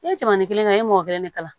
I ye cɛmanin kelen kɛ e m'o kelen ne kala